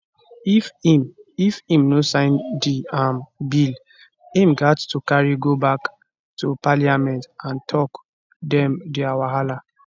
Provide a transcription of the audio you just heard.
if im if im no sign di um bill im gat to carry go back to parliament and tok dem di wahala